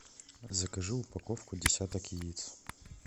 закажи упаковку десяток яиц